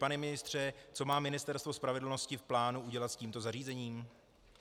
Pane ministře, co má Ministerstvo spravedlnosti v plánu udělat s tímto zařízením?